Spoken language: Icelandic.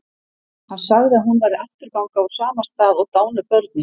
Hann sagði að hún væri afturganga úr sama stað og dánu börnin.